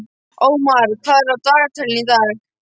Ómar, hvað er á dagatalinu í dag?